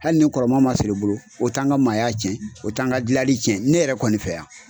Hali ni kɔrɔma ma sɔrɔ i bolo o tɛ an ka maaya tiɲɛ o t'an ka dilanli tiɲɛ ne yɛrɛ kɔni fɛ yan